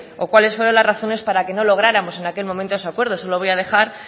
o cuáles fueron las razones para que no lográramos en aquel momento ese acuerdo eso lo voy a dejar